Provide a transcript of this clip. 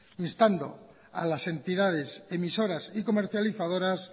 instando a las entidades emisoras y comercializadoras